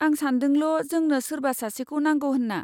आं सान्दोंल' जोंनो सोरबा सासेखौ नांगौ होन्ना।